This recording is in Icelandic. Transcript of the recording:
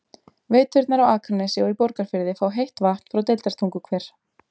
Veiturnar á Akranesi og í Borgarfirði fá heitt vatn frá Deildartunguhver.